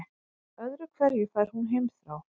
Öðru hverju fær hún heimþrá.